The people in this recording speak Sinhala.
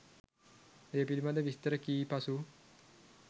ඒ පිළිබඳ විස්තර කී පසු